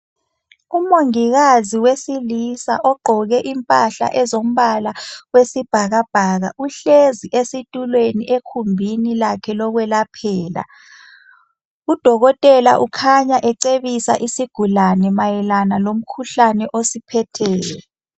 Umongikazi wesilisa ogqoke impahla ezombala wesibhakabhaka. Uhlezi esitulweni ekhumbini lakhe lokwelaphela. Udokotela ukhanya ecebisa isigulane mayelana lomkhuhlane osiphetheyo.